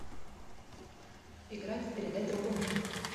играть в передай другому